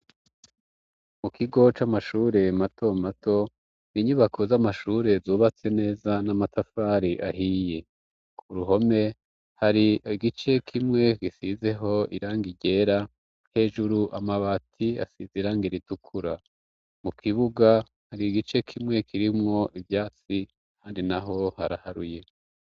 mukigo c'amashure matomato inyubako z'amashure zubatse neza n'amatafari ahiye ku ruhome hari gice kimwe gisizeho irangi ryera hejuru amabati asize iranga ritukura mu kibuga hari gice kimwe kirimwo ivyatsi kandi naho haraharuye